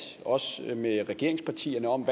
med regeringspartierne om